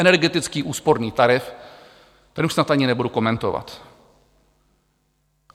Energetický úsporný tarif, ten už snad ani nebudu komentovat.